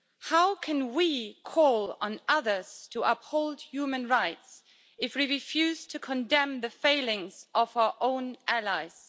How can we call on others to uphold human rights if we refuse to condemn the failings of our own allies?